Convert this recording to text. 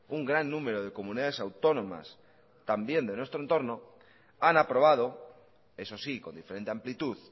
un gran número de comunidades autónomas también de nuestro entorno han aprobado eso sí con diferente amplitud